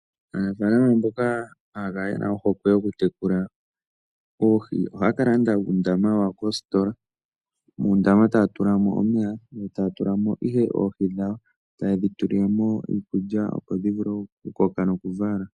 Aanafaalama mboka haya kala yena ohokwe yokutekula oohi, ohaya kalanda uundama wawo koositola, muundama taya tula mo omeya, taya tula mo ihe oohi dhawo, tayedhi tulilemo iikulya opo dhivule okukoka nokuvala.